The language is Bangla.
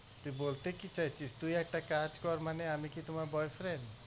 তুই বলতে কি চাইছিস তুই একটা কাজ কর মানে আমি কি তোমার boyfriend